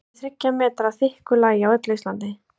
það jafngildir þriggja metra þykku lagi á öllu íslandi!